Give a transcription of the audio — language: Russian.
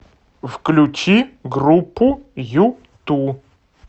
включи группу юту